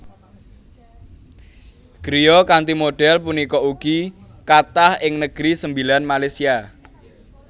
Griya kanthi modhél punika ugi kathah ing Negeri Sembilan Malaysia